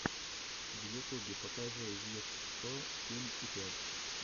в ютубе покажи виш сто семь и пять